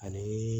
Ani